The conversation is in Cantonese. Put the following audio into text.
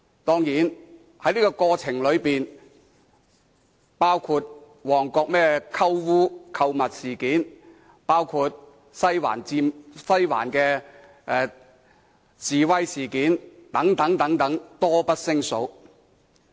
當然，在這個過程中，還發生包括旺角"鳩嗚"事件、西環的示威事件等，多不勝數。